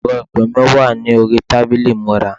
ẹrọ ìpè mi wà ní orí tábìlì ìmúra